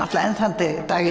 enn þann dag í dag